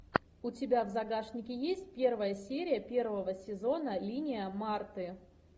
у тебя в загашнике есть первая серия первого сезона линия марты